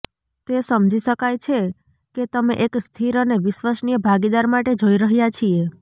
તે સમજી શકાય છે કે તમે એક સ્થિર અને વિશ્વસનીય ભાગીદાર માટે જોઈ રહ્યા છીએ